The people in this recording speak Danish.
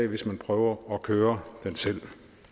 hvis man prøver at køre den selv